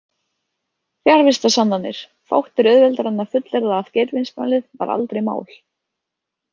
Fjarvistarsannanir Fátt er auðveldara en að fullyrða að Geirfinnsmálið var aldrei „mál“.